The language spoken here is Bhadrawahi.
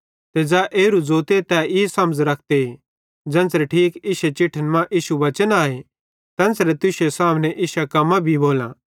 ते ज़ै एरू ज़ोते तै ई समझ़ रखते ज़ेन्च़रे ठीक इश्शे चिठ्ठन मां इश्शो वचन आए तेन्च़रे तुश्शे सामने इश्शां कम्मां भी भोलां